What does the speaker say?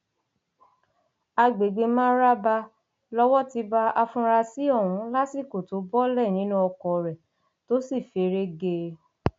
àgbègbè maraba lowó ti bá afurasí ọhún lásìkò tó bọọlẹ nínú oko rẹ tó sì feré gé e